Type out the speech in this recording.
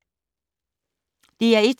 DR1